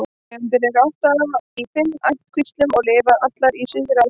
Tegundirnar eru átta í fimm ættkvíslum og lifa allar í Suðaustur-Asíu.